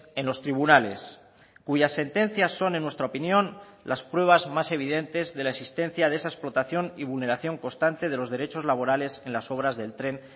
en los tribunales cuyas sentencias son en nuestra opinión las pruebas más evidentes de la existencia de esa explotación y vulneración constante de los derechos laborales en las obras del tren